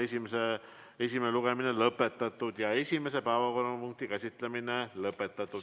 Esimene lugemine on lõpetatud ja esimese päevakorrapunkti käsitlemine on lõppenud.